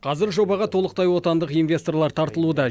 қазір жобаға толықтай отандық инвесторлар тартылуда